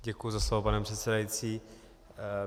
Děkuji za slovo, pane předsedající.